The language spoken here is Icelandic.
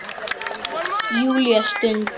Júlía stundi.